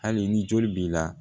Hali ni joli b'i la